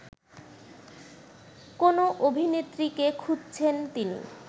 কোনো অভিনেত্রীকে খুঁজছেন তিনি